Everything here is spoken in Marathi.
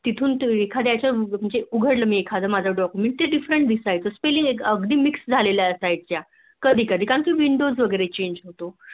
तिथून एखाद्याच मी उघडलं एखाद माझं Document ते Different दिसायचं Spelling अगदी Mix जाहल्या सायच्या कधी कधी कारण windows वैगेरे Change होतो